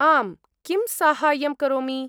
आम्, किं साहाय्यं करोमि?